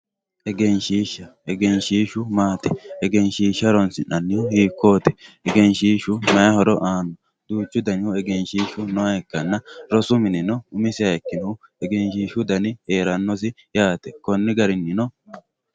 egenshshiihsha egenshishsu maati egenshshiishsha horoonsi'nannihu hiikkooti egenshshiishshu horo maati duuchu danihu egenshshiishu nooha ikkanna rosu minino umisihu egenshshiishshu heerannoha ikkanna yaate konni garinnino